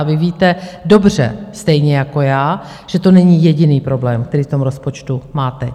A vy víte dobře, stejně jako já, že to není jediný problém, který v tom rozpočtu máte.